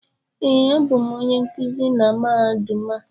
Ee, abụ m onye nkuzi na Mahadum a